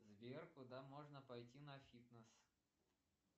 сбер куда можно пойти на фитнес